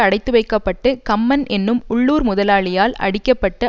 அடைத்துவைக்கப்பட்டு கம்மன் என்னும் உள்ளூர் முதலாளியால் அடிக்கப்பட்டு